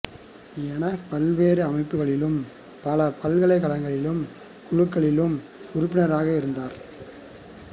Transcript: எனப் பல்வேறு அமைப்புகளிலும் பல பல்கலைக்கழகங்களின் குழுக்களிளிலும் உறுப்பினராக இருந்துள்ளார்